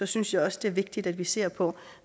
synes jeg også det er vigtigt at vi ser på